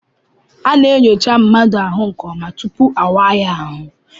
A na-enyocha mmadụ ahụ nke ọma tupu awaa ya ahụ.